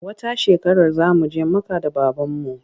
Wata shekarar za mu je Makka da babanmu.